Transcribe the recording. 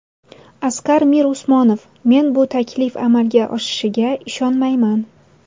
Asqar Mirusmonov: Men bu taklif amalga oshishiga ishonmayman.